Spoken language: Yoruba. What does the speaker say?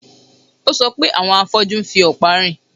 Ó sọ pé àwọn afọ́jú ń fi ọ̀pá rìn